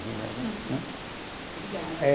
Obrigada. Eh